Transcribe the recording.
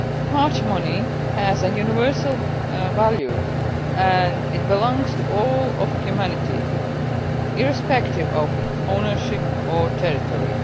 patrimony has a universal value and it belongs to all of humanity, irrespective of ownership or territory.